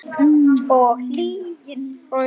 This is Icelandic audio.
Og lygin.